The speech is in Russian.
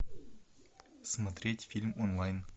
смотреть фильм онлайн